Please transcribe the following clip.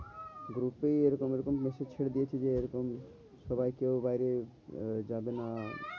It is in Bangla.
Group এই এরকম এরকম massage ছেড়ে দিয়েছে যে এরকম সবাই কেউ বাইরে আহ যাবে না।